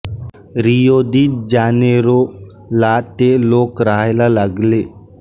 Rio de Janeiro ला ते लोक राहायला लागले